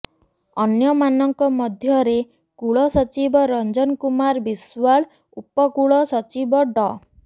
ଅନ୍ୟମାନଙ୍କ ମଧ୍ୟରେ କୁଳସଚିବ ରଞ୍ଜନ କୁମାର ବିଶ୍ବାଳ ଉପକୁଳ ସଚିବ ଡ